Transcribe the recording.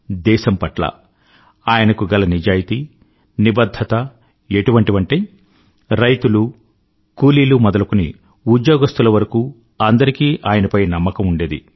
దేశం పట్ల ఆయనకు గల నిజాయితీ నిబధ్ధత ఎటువంటివంటే రైతులు కూలీవారు మొదలుకొని ఉద్యోగస్తుల వరకూ అందరికీ ఆయనపై నమ్మకం ఉండేది